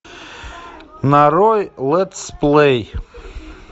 нарой летс плей